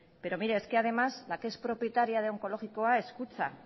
pero mire es que además la que es propietaria de onkologikoa es kutxa